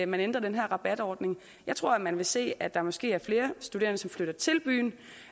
man ændrer den her rabatordning jeg tror at man vil se at der måske er flere studerende som flytter til byen